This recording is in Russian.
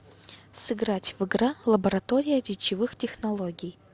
сыграть в игра лаборатория речевых технологий